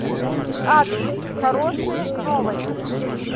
адрес хорошие новости